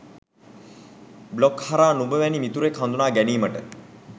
blog හරහා නුඹ වැනි මිතුරෙක් හඳුනා ගැනීමට